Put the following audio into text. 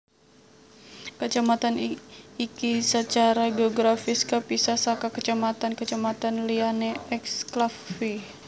Kacamatan iki sacara geografis kapisah saka kacamatan kacamatan liyané eksklave